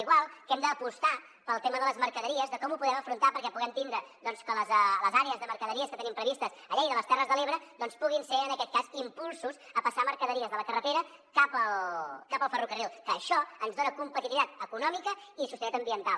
igual que hem d’apostar pel tema de les mercaderies de com ho podem afrontar perquè puguem tindre doncs que les àrees de mercaderies que tenim previstes a lleida a les terres de l’ebre doncs puguin ser en aquest cas impulsos a passar mercaderies de la carretera cap al ferrocarril que això ens dona competitivitat econòmica i sostenibilitat ambiental